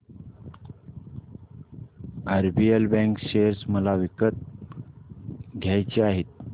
RBL bank share मला विकत घ्यायचे आहेत